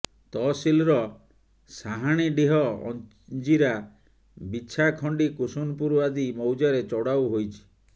ତହସିଲର ସାହାଣୀଡିହ ଅଞ୍ଜିରା ବିଛାଖଣ୍ଡି କୁସୁନପୁର ଆଦି ମୌଜାରେ ଚଢାଉ ହୋଇଛି